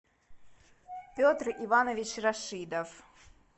петр иванович рашидов